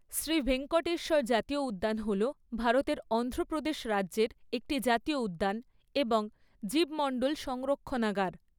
শ্রী ভেঙ্কটেশ্বর জাতীয় উদ্যান হল ভারতের অন্ধ্রপ্রদেশ রাজ্যের একটি জাতীয় উদ্যান এবং জীবমণ্ডল সংরক্ষণাগার।